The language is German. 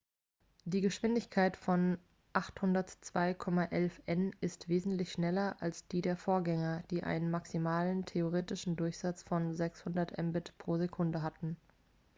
die geschwindigkeit von 802,11 n ist wesentlich schneller als die der vorgänger die einen maximalen theoretischen durchsatz von 600 mbit/s hatten